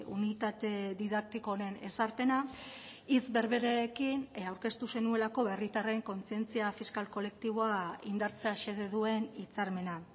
unitate didaktiko honen ezarpena hitz berberekin aurkeztu zenuelako herritarren kontzientzia fiskal kolektiboa indartzea xede duen hitzarmena